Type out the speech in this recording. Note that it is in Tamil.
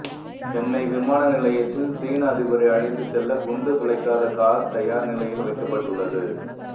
சென்னை விமான நிலையத்தில் சீன அதிபரை அழைத்து செல்ல குண்டு துளைக்காத கார் தயார் நிலையில் வைக்கப்பட்டுள்ளது